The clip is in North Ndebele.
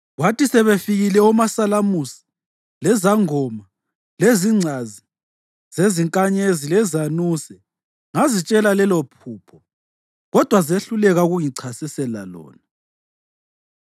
Kwathi sebefikile omasalamusi, lezangoma, lezingcazi zezinkanyezi lezanuse ngazitshela lelophupho kodwa zehluleka ukungichasisela lona.